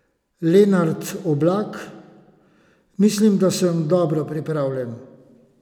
Lenart Oblak: "Mislim, da sem dobro pripravljen.